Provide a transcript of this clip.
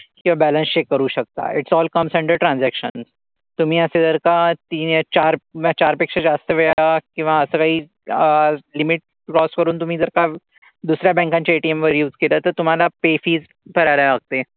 किंवा balance check करू शकता. It all comes under transaction. तुम्ही असे जर का तीन या चार किंवा चार पेक्षा जास्त वेळा किंवा असं काही अह limit cross करून तुम्ही जर का दुसऱ्या banks च्या ATM वर use केलं तर तुम्हाला pay fees करायला लागते.